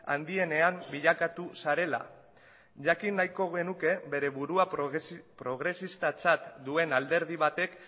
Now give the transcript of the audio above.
handienean bilakatu zarela jakin nahiko genuke bere burua progresistatzat duen alderdi batek